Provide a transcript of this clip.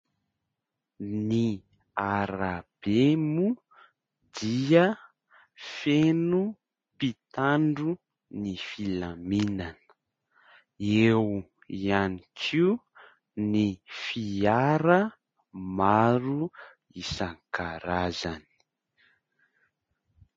Ny arabe moa dia feno mpitandro ny filaminana. Eo ihany koa ny fiara maro isan-karazany.